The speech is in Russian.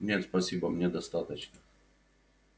нет спасибо мне достаточно